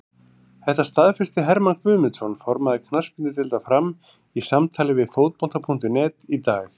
Þetta staðfesti Hermann Guðmundsson, formaður knattspyrnudeildar Fram, í samtali við Fótbolta.net í dag.